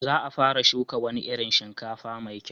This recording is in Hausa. Za a fara shuka wani irin shinkafa mai kyau.